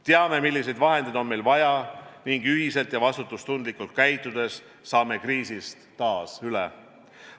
Teame, milliseid vahendeid on meil vaja, ning ühiselt vastutustundlikult käitudes saame kriisist taas üle.